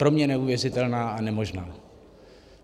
Pro mě neuvěřitelná a nemožná.